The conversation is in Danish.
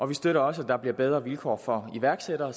vi støtter også at der bliver bedre vilkår for iværksættere